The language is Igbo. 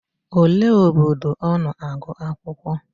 Olee obodo ọ nọ agụ akwụkwọ?